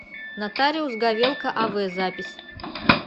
нотариус говелко ав запись